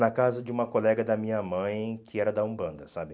Na casa de uma colega da minha mãe que era da Umbanda, sabe?